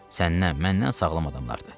Səndən, məndən sağlam adamlardır.